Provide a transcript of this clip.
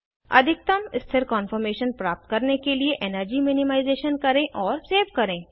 अधिकतम स्थिर कान्फॉर्मेशन प्राप्त करने के लिए एनर्जी मिनिमाइज़ेशन करें और सेव करें